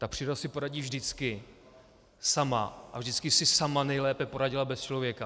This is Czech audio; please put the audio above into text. Ta příroda si poradí vždycky sama a vždycky si sama nejlépe poradila bez člověka.